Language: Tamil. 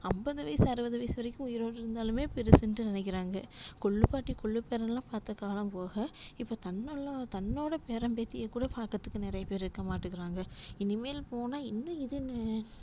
அம்பது வயசு அறுபது வயசு வரைக்கும் உயிரோட இருந்தாலுமே பெருசுன்ட்டு நெனைக்கிறாங்க கொல்லுப்பாட்டி கொல்லுப்பேரன்லா பாத்த காலம் போக இப்போ தன்ன தன்னோட பேரன் பேத்தியக்கூட பாக்குறதுக்கு நறைய பேர் இருக்க மாட்டிகிறாங்க. இனிமேல் போனா இன்னு இதுன்னு